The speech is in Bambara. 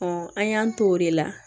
an y'an t'o de la